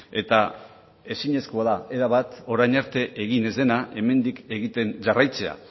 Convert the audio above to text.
eta ezinezkoa da erabat orain arte egin ez dena hemendik egiten jarraitzea